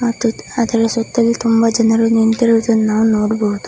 ಮತ್ತು ಅದರ ಸುತ್ತಲೂ ಜನರು ನಿಂತಿರುವುದನ್ನು ನೋಡಬಹುದು.